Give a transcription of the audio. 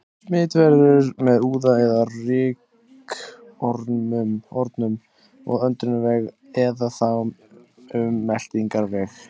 Smit verður með úða eða rykkornum um öndunarveg eða þá um meltingarveg.